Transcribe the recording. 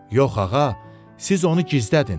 Yox ağa, siz onu gizlədin.